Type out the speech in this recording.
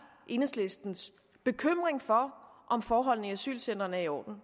enhedslistens bekymring for om forholdene i asylcentrene er i orden